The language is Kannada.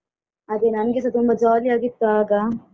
ಅದೇ ನಂಗೆಸ ತುಂಬಾ ಜಾಲಿ ಆಗಿತ್ತು ಆಗ.